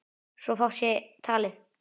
svo fátt eitt sé talið.